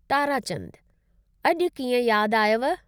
ताराचंदु : अॼु कीअं यादि आयव?